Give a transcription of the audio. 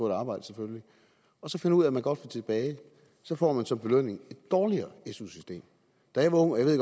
et arbejde selvfølgelig og så finder ud af at man godt vil tilbage får man som belønning et dårligere su system da jeg var ung og jeg